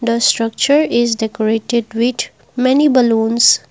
the structure is decorated with many balloons.